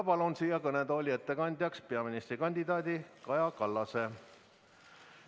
Palun siia kõnetooli ettekandjaks peaministrikandidaat Kaja Kallase.